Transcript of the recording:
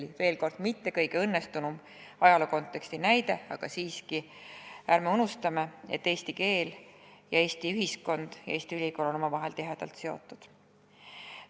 Kordan veel, et see pole just kõige õnnestunum ajalookonteksti näide, aga siiski ärme unustame, et eesti keel, Eesti ühiskond ja Eesti ülikool on omavahel tihedalt seotud.